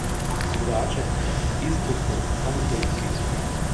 Drugače pa je pritisk povsod, kamor koli prideš.